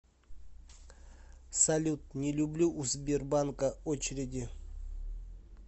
салют не люблю у сбербанка очереди